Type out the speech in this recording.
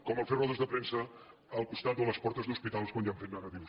com fer rodes de premsa al costat o a les portes d’hospitals quan hi han fets negatius